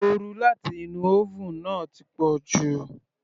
Oru láti inú oven náà ti pọ̀jù.